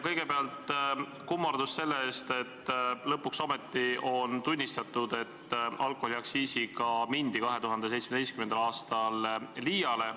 Kõigepealt kummardus selle eest, et lõpuks ometi on tunnistatud, et alkoholiaktsiisiga mindi 2017. aastal liiale.